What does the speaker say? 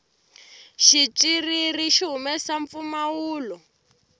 xitswiriri xi humesa mpfumawulo